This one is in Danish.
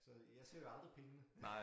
Så jeg ser jo aldrig pengene